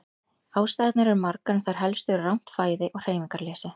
Ástæðurnar eru margar en þær helstu eru rangt fæði og hreyfingarleysi.